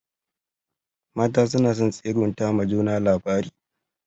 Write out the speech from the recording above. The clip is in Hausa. Mata suna son tsegunta ma juna labari.